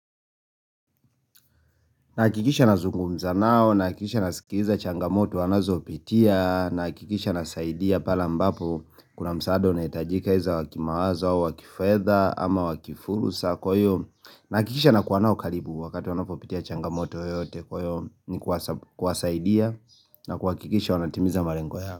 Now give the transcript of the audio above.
Nahakikisha nazungumza nao, nahakikisha nasikiliza changamoto wanazopitia, nahakikisha nasaidia pale ambapo kuna msaada unahitajika wa kimawazo, au wa kifedha, ama wa kifursa kwa hiyo, nahakikisha nakuwa nao karibu wakati wanapopitia changamoto yoyote kwa hiyo ni kuwasaidia na kuhakikisha wanatimiza malengo yao.